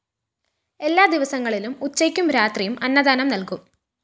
എല്ലാ ദിവസങ്ങളിലും ഉച്ചയ്കും രാത്രിയും അന്നദാനം നൽകും